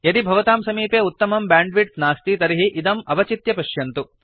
यदि भवतां समीपे उत्तमं ब्यांड्विड्त् नास्ति तर्हि इदम् अवचित्य पश्यन्तु